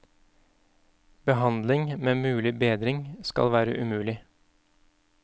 Behandling med mulig bedring skal være umulig.